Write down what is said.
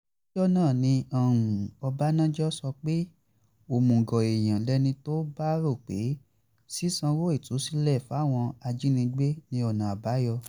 lọ́jọ́ náà ni ọ̀bánájọ́ sọ pé òmùgọ̀ èèyàn lẹni tó bá rò pé ṣíṣàǹwò ìtúsílẹ̀ fáwọn ajínigbé ní ọ̀nà àbáyọ